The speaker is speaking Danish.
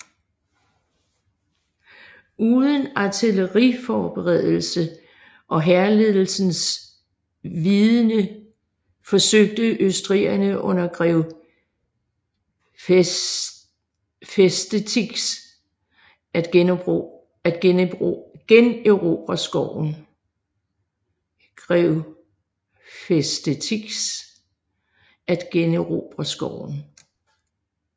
Uden artilleriforberedelse og hærledelsens vidende forsøgte østrigerne under grev Festetics at generobre skoven